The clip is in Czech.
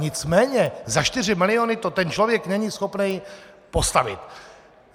Nicméně za 4 miliony to ten člověk není schopný postavit.